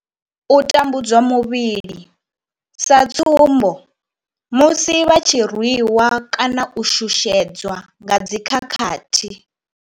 U tambudzwa muvhili sa tsumbo, musi vha tshi rwi wa kana u shushedzwa nga dzi khakhathi.